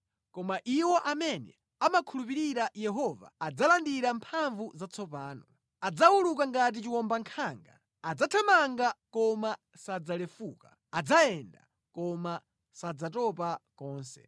koma iwo amene amakhulupirira Yehova adzalandira mphamvu zatsopano. Adzawuluka ngati chiwombankhanga; adzathamanga koma sadzalefuka, adzayenda koma sadzatopa konse.